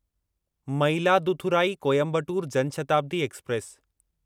Mayiladuthurai Coimbatore Jan Shatabdi express